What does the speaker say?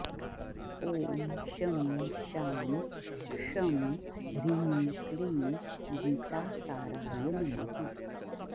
ॐ शं शां षं ह्रीं क्लीं गीतासाराय नमः